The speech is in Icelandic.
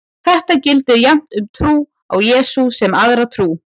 Þetta gildir jafnt um trú á Jesú sem aðra trú.